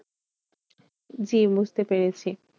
জি বুঝতে পেরেছি।